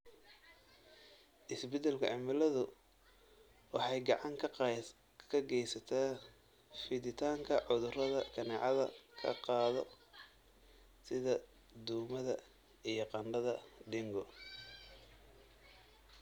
Isbeddelka cimiladu waxay gacan ka geysataa fiditaanka cudurrada kaneecada ka qaado, sida duumada iyo qandhada dengue.